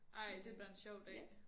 Ej det bliver en sjov dag